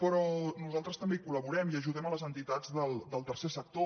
però nosaltres també hi col·laborem i ajudem les enti·tats del tercer sector